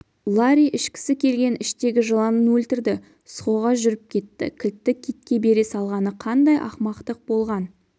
ларри ішкісі келген іштегі жыланын өлтірді схоға жүріп кетті кілтті китке бере салғаны қандай ақымақтық болған